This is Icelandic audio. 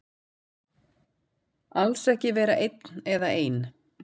Alls ekki vera einn eða ein.